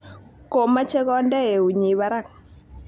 Komachei konde eunyi barak.